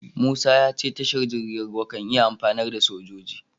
Musa ya ce tashar jirgin ruwa kan iya amfanar da sojoji.